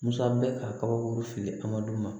Musa bɛ ka kabakuru fili adama ma